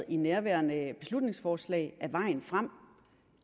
i nærværende beslutningsforslag er vejen frem